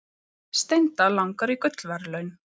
Steinda langar í gullverðlaun